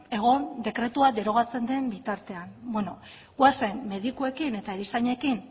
egon dekretua derogatzen den bitartean beno goazen medikuekin eta erizainekin